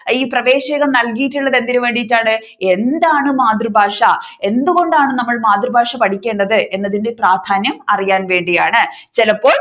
ഈ പ്രവേശകം നൽകിയിട്ടുള്ളത് എന്തിനു വേണ്ടിയിട്ടാണ് എന്താണ് മാതൃഭാഷ എന്തുകൊണ്ടാണ് നമ്മൾ മാതൃഭാഷ പഠിക്കേണ്ടത് എന്നതിന്റെ പ്രാധാന്യം അറിയാൻ വേണ്ടിയാണ് ചിലപ്പോൾ